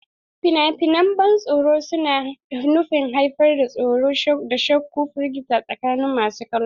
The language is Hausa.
Fina-finan ban tsoro suna nufin haifar da tsoro, shakku, da firgita tsakanin masu kallo.